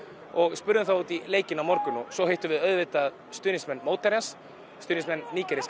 og spurðum þá út í leikinn á morgun svo hittum við auðvitað stuðningsmenn mótherjans stuðningsmenn nígeríska